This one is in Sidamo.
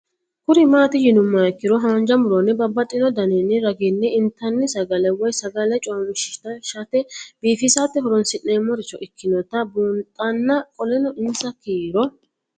Kuni mati yinumoha ikiro hanja muroni babaxino daninina ragini intani sagale woyi sagali comishatenna bifisate horonsine'morich ikinota bunxana qoleno insa kiiro